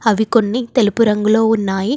అవి కొన్ని తెలుపు రంగులో ఉన్నాయి.